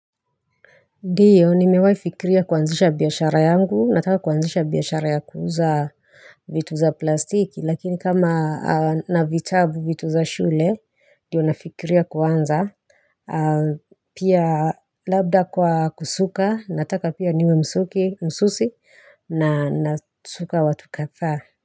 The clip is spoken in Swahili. Ndiyo ni mewai fikiria kuanzisha biyashara yangu nataka kuanzisha biyashara ya kuuza vitu za plastiki lakini kama na vitabu vitu za shule ndiyo nafikiria kuanza pia labda kwa kusuka nataka pia niwe msuki msusi na nasuka watu kathaa.